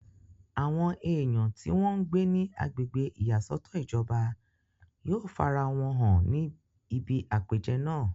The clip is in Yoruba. àwọn èèyàn tí wọ́n ń gbé ní agbègbè ìyàsọ́tọ̀ ìjọba yóò farawọn hàn ní ibi àpèjẹ náà.